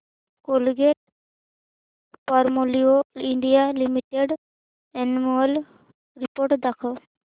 Colgate Palmolive India limited annual report दाखव